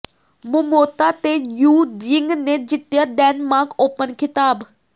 Momota ਤੇ Tzu Ying ਨੇ ਜਿੱਤਿਆ ਡੈਨਮਾਰਕ ਓਪਨ ਖਿਤਾਬ